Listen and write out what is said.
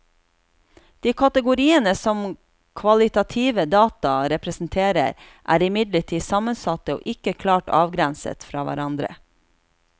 De kategoriene som kvalitative data representerer, er imidlertid sammensatte og ikke klart avgrenset fra hverandre.